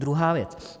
Druhá věc.